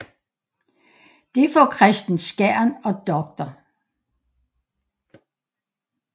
Det får Kristen Skjern og dr